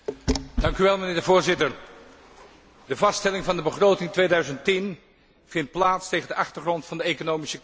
Mijnheer de Voorzitter, de vaststelling van de begroting 2010 vindt plaats tegen de achtergrond van de economische crisis.